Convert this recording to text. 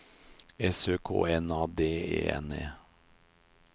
S Ø K N A D E N E